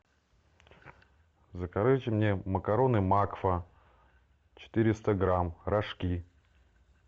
закажите мне макароны макфа четыреста грамм рожки